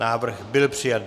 Návrh byl přijat.